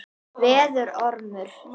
Verður ormur.